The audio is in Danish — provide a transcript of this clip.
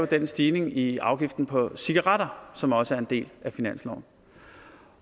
den stigning i i afgiften på cigaretter som også er en del af finansloven